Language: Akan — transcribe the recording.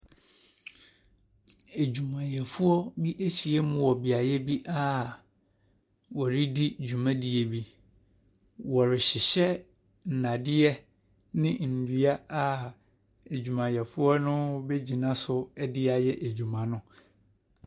Adwumayɛfoɔ bi ahyiam wɔ beaeɛ bi a wɔredi dwumadie bi. Wɔrehyehyɛ nnadeɛ ne nnua a adwumayɛfoɔ bɛgyina so de ayɛ adwuma no.